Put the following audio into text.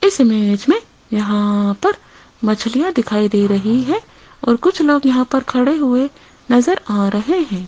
इस इमेज मे यहां पर मछलियां दिखाई दे रही है और कुछ लोग यहां पर खड़े हुए नजर आ रहे हैं।